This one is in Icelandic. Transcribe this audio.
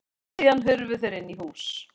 Síðan hurfu þeir inn í hús.